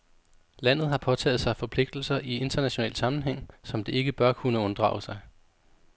Landet har påtaget sig forpligtelser i international sammenhæng, som det ikke bør kunne unddrage sig.